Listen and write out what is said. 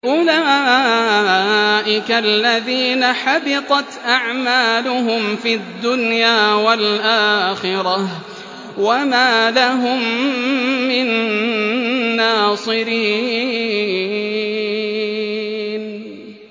أُولَٰئِكَ الَّذِينَ حَبِطَتْ أَعْمَالُهُمْ فِي الدُّنْيَا وَالْآخِرَةِ وَمَا لَهُم مِّن نَّاصِرِينَ